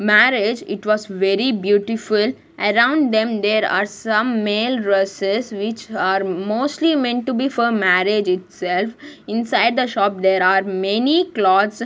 marriage it was very beautiful around them there are some male dresses which are mostly meant to be for married itself inside the shop there are many clothes.